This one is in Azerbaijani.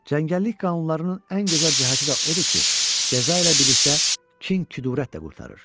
Cəngəllik qanunlarının ən gözəl cəhəti də odur ki, cəza ilə birlikdə kin-küdurət də qurtarır.